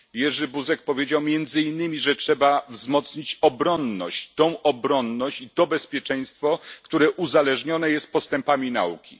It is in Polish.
Jerzy Buzek powiedział między innymi, że trzeba wzmocnić obronność, tę obronność i to bezpieczeństwo, które uzależnione są od postępów nauki.